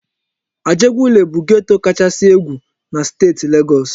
Ajegunle bụ geto kachasị egwu na steeti Legọs.